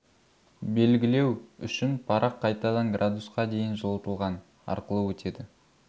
белгілеу үшін парақ қайтадан градусқа дейін жылытылған арқылы өтеді